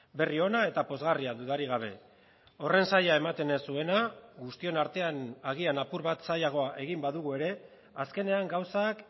berri ona eta pozgarria dudarik gabe horren zaila ematen ez zuena guztion artean agian apur bat zailagoa egin badugu ere azkenean gauzak